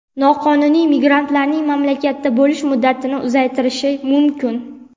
noqonuniy migrantlarning mamlakatda bo‘lish muddatini uzaytirishi mumkin.